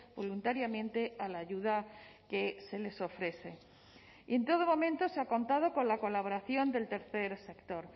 voluntariamente a la ayuda que se les ofrece y en todo momento se ha contado con la colaboración del tercer sector